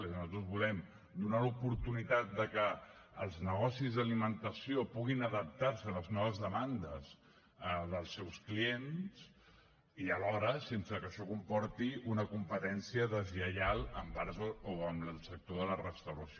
és a dir nosaltres volem donar l’oportunitat de que els negocis d’alimentació puguin adaptar se a les noves demandes dels seus clients i alhora sense que això comporti una competència deslleial envers o amb el sector de la restauració